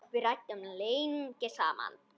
Við ræddum lengi saman.